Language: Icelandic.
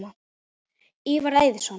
Ívar Eiðsson